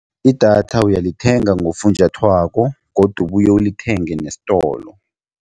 Idatha uyalithenga ngofunjathwako godu ubuye ulithenge nesitolo.